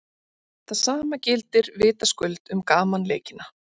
Það sama gildir vitaskuld um gamanleikina.